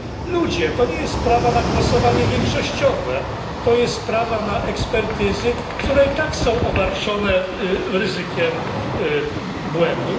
Ludzie, to nie jest sprawa na głosowanie większościowe, to jest sprawa na ekspertyzy, które i tak są obarczone ryzykiem błędu.